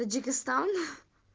таджикистан